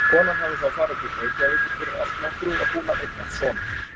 Konan hafði þá farið til Reykjavíkur fyrir allnokkru og var búin að eignast son.